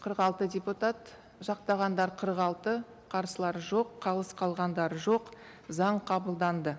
қырық алты депутат жақтағандар қырық алты қарсылар жоқ қалыс қалғандар жоқ заң қабылданды